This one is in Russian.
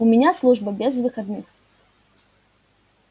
у меня служба без выходных